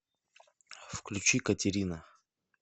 включи катерина